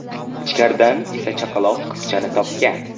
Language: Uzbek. Ichkaridan esa chaqaloq qizchani topgan.